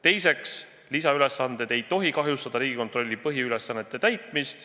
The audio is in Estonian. Teiseks, lisaülesanded ei tohi kahjustada Riigikontrolli põhiülesannete täitmist.